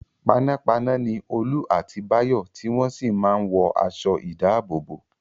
Panápaná ni Olú àti Báyọ̀ tí wọ́n sì máa ń wọ aṣọ-ìdáàbòbò.